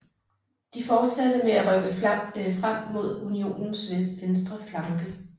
De fortsatte med at rykke frem mod unionens venstre flanke